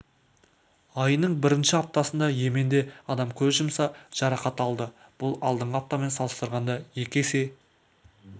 айының бірінші аптасында йеменде адам көз жұмса жарақат алды бұл алдыңғы аптамен салыстырғанда екі есе